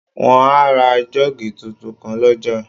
Wọ́n á ra jọ́ọ́gì tuntun kan lọ́jà